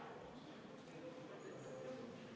V a h e a e g